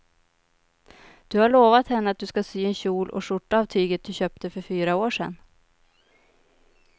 Du har lovat henne att du ska sy en kjol och skjorta av tyget du köpte för fyra år sedan.